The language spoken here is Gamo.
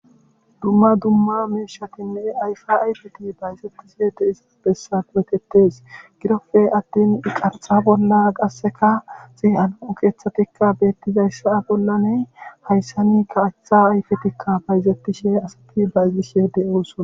Dumma dumma miishatinne ayfa ayfet bayzetishe de;iza gidoppe attin he kaththa bolla zo'o keeththatikka beetidayssa bollan hayssani kaththa ayfetikka paydetishe asatikka bayzishe de'osona.